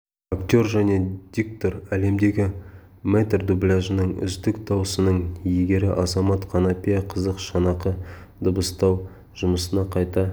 актер және диктор әлемдегі мэтр дубляжының үздік дауысының иегері азамат қанапия қызық шанақты дыбыстау жұмысына қайта